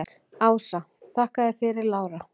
Ása: Þakka þér fyrir Lára.